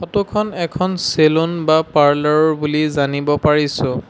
ফটোখন এখন চেলুন বা পাৰ্লাৰৰ বুলি জানিব পাৰিছোঁ।